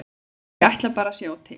Ég ætla bara að sjá til.